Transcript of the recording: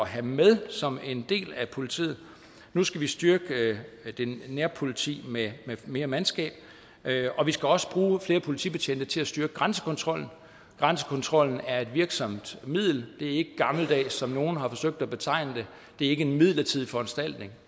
have med som en del af politiet nu skal vi styrke det nære politi med mere mandskab og vi skal også bruge flere politibetjente til at styrke grænsekontrollen grænsekontrollen er et virksomt middel det er ikke gammeldags som nogle har forsøgt sig at betegne det det er ikke en midlertidig foranstaltning